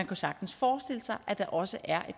jo sagtens forestille sig at der også er